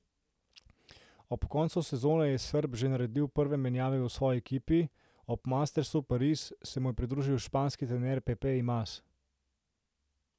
Ob koncu sezone je Srb že naredil prve menjave v svoji ekipi, ob mastersu Parizu se mu je pridružil španski trener Pepe Imaz.